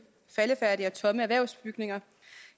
faldefærdige og tomme erhvervsbygninger